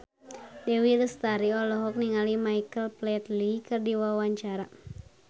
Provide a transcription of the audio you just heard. Dewi Lestari olohok ningali Michael Flatley keur diwawancara